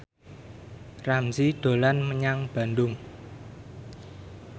Ramzy dolan menyang Bandung